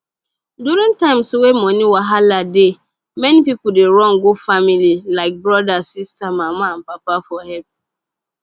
during times wey money wahala dey many people dey run go family like brother sister mama and papa for help